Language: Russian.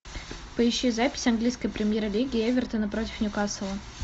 поищи запись английской премьер лиги эвертона против ньюкасла